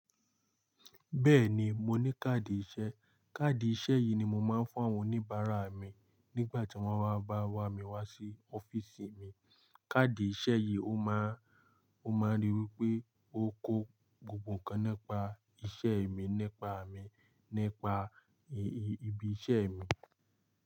Bẹ́ẹ̀ni, mo ní káàdì ìṣe. Káàdì ìṣe yìí ni mo máa ń fún àwọn oníbàárà mi nígbà tí wọ́n bá wá wà mí wá sí ọ́fíìsì mi. Káàdì ìṣe yìí ó máa, ó máa ríi wí pé ó kó gbogbo nǹkan nípa iṣẹ́ mi, nípa mi, nípa ibi iṣẹ́ mi.